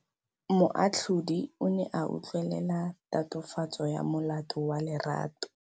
Moatlhodi o ne a utlwelela tatofatsô ya molato wa Lerato.